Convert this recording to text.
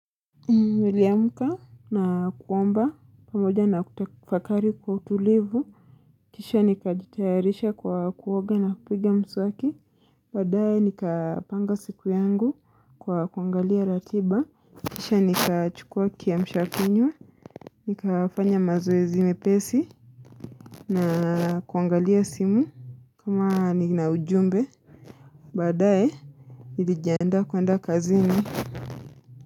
Niliamka na kuomba pamoja na kutafakari kwa utulivu. Kisha nikajitayarisha kwa kuoga na kupiga mswaki. Badae nikapanga siku yangu kwa kuangalia ratiba. Kisha nikachukua kiamshakinywa. Nikafanya mazoezi mepesi. Na kuangalia simu kama nina ujumbe. Badae, nilijiandaa kuenda kazini.